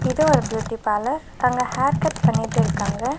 இது ஒரு beauty parlour அங்க ஹேர்கட் பண்ணிட்டு இருக்காங்க.